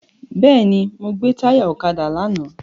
Bẹ́ẹ̀ni, mo gbè táyà ọ̀kadà lánàá.